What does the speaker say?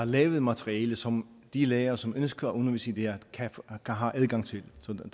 lavet materiale som de lærere som ønsker at undervise i det her har adgang til så